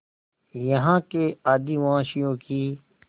यहाँ के आदिवासियों की